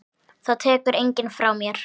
Það tekur enginn frá mér.